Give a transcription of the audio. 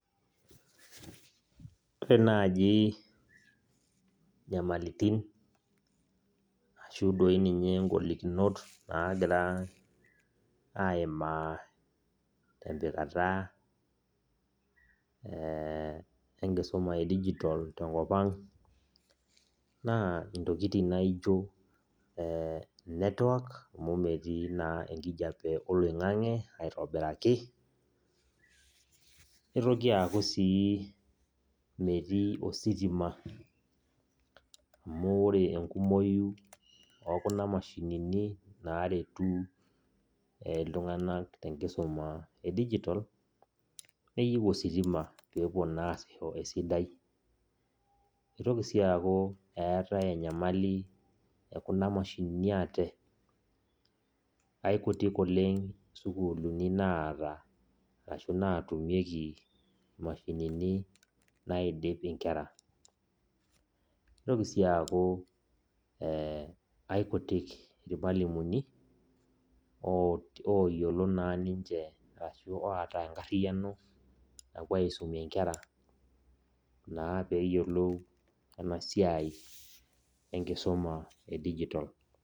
Ore naji nyamalitin ashu doi ninye golikinot nagira aimaa tempikata enkisuma edijitol tenkop ang, naa intokiting naijo eh netwak amu metii naa enkijape oloing'ang'e aitobiraki, nitoki aku si metii ositima amu ore enkumoyu okuna mashinini naretu iltung'anak tenkisuma edijitol, neyieu ositima pepuo naa asisho esidai. Kitoki si aku eetae enyamali ekuna mashinini ate. Aikutik oleng sukuulini naata ashu natumieki mashinini naidip inkera. Kitoki si aku, aikutik irmalimuni oyiolo naa ninche ashu oota enkarriyiano napuo aisumie nkera naa peyiolou enasiai enkisuma edijitol.